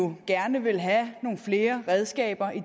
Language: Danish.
vi gerne vil have nogle flere redskaber i